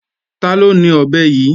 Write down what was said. Taló ni ọ̀bẹ yí?